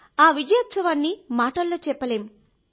ఆ విజయగర్వాన్ని లెక్కించలేనంత ఆనందంగా ఉన్నాను